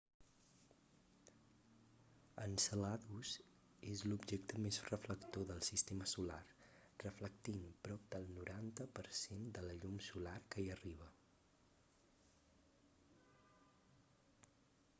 enceladus és l'objecte més reflector del sistema solar reflectint prop del 90 per cent de la llum solar que hi arriba